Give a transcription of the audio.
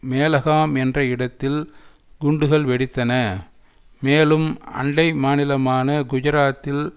மேலகாம் என்ற இடத்தில் குண்டுகள் வெடித்தன மேலும் அண்டை மாநிலமான குஜராத்தில்